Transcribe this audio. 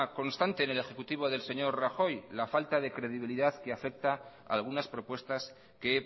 constante en el ejecutivo del señor rajoy la falta de credibilidad que afecta a algunas propuestas que